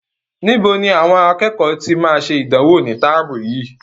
Níbo ni àwọn akẹ́kọ̀ọ́ tí máa ṣe ìdánwò ní táàmù yìí?